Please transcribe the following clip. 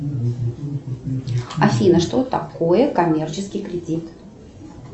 афина что такое коммерческий кредит